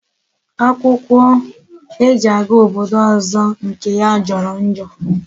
Akwukwo e ji aga obodo ozo nke ya joro njo